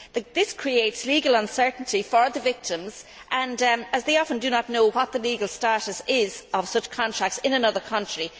This creates legal uncertainty for the victims, as they often do not know what the legal status is of such contracts in another country.